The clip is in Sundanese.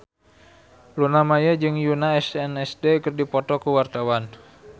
Luna Maya jeung Yoona SNSD keur dipoto ku wartawan